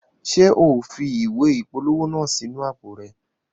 Ṣe o fi ìwé ìpolówó naa sí inú àpò rẹ?